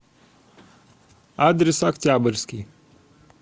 адрес октябрьский